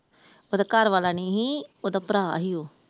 ਉਹਦਾ ਘਰਵਾਲਾ ਨੀ ਸੀ ਉਹਦਾ ਭਰਾ ਸੀ ਉਹ ।